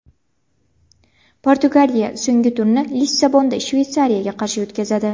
Portugaliya so‘nggi turni Lissabonda Shveysariyaga qarshi o‘tkazadi.